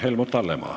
Helmut Hallemaa.